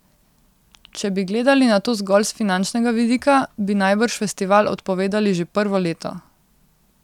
Če bi gledali na to zgolj s finančnega vidika, bi najbrž festival odpovedali že prvo leto.